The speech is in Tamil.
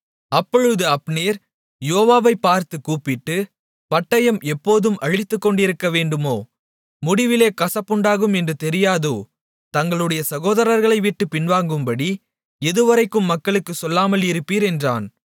அப்பொழுது அப்னேர் யோவாபைப் பார்த்துக் கூப்பிட்டு பட்டயம் எப்போதும் அழித்துக்கொண்டிருக்கவேண்டுமோ முடிவிலே கசப்புண்டாகும் என்று தெரியாதோ தங்களுடைய சகோதரர்களைவிட்டுப் பின்வாங்கும்படி எதுவரைக்கும் மக்களுக்குச் சொல்லாமல் இருப்பீர் என்றான்